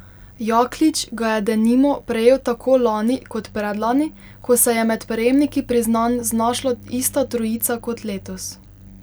Jaklič ga je denimo prejel tako lani kot predlani, ko se je med prejemniki priznanj znašla ista trojica kot letos.